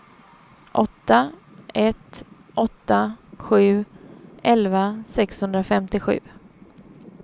åtta ett åtta sju elva sexhundrafemtiosju